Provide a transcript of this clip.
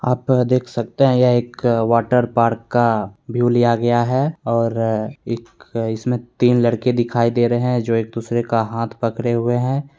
आप देख सकते है यह एक वाटर पार्क का व्यू लिया गया है और इक इसमे तीन लड़के दिखाई दे रहे है जो एक दूसरे का हाथ पकड़े हुए हैं।